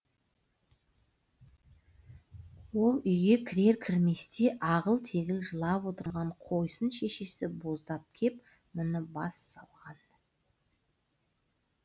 ол үйге кірер кірместе ағыл тегіл жылап отырған қойсын шешесі боздап кеп мұны бас салған